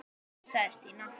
sagði Stína.